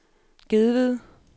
Gedved